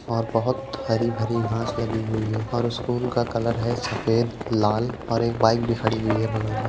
और बहुत हरी भरी घास लगी हुयी है और स्कूल का कलर है सफ़ेद लाल और एक बाइक भी खड़ी हुई है बगल में --